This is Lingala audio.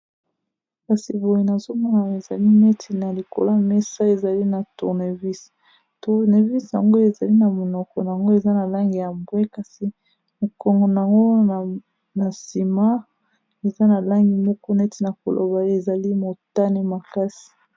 kasi boye nazomona ya ezali neti na likola mesa ezali na tournevis tournevis yango ezali na monoko nango eza na langi ya bwe kasi mokongo nngo na nsima eza na langi moko neti na koloba yo ezali motane makasi